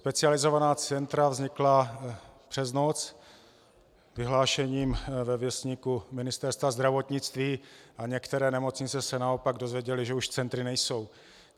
Specializovaná centra vznikla přes noc vyhlášením ve Věstníku Ministerstva zdravotnictví a některé nemocnice se naopak dozvěděly, že už centry nejsou.